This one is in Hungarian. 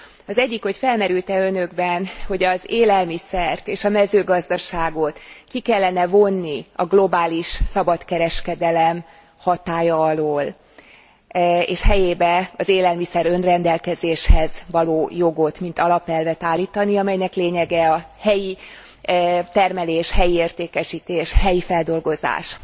Az egyik, hogy felmerült e Önökben, hogy az élelmiszert és a mezőgazdaságot ki kellene vonni a globális szabadkereskedelem hatálya alól, és helyébe az élelmiszer önredelkezéshez való jogot mint alapelvet állítani, amelynek lényege a helyi termelés, helyi értékesítés, helyi feldolgozás.